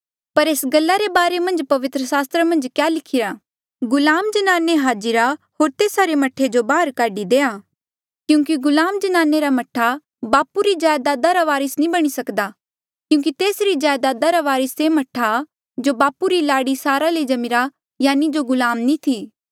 पर एस गल्ला रे बारे मन्झ पवित्र सास्त्र मन्झ क्या लिखिरा गुलाम जन्नाने हाजिरा होर तेस्सा रे मह्ठे जो बाहर काढी देआ क्यूंकि गुलाम जन्नानी रा मह्ठा बापू री जायदाद रा वारस नी बणी सकदा क्यूंकि तेसरी जायदादा रा वारिस से मह्ठा जो बापू री लाड़ी सारा ले जम्मीरा यानि जो गुलाम नी थी